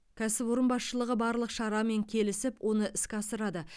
кәсіпорын басшылығы барлық шарамен келісіп оны іске асырады